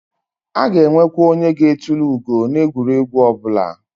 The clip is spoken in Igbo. A na enwekwa onye ga etulu ugo na egwuregwu obula